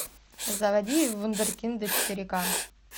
заводи вундеркинды четыре ка